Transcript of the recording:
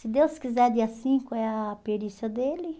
Se Deus quiser, dia cinco é a perícia dele.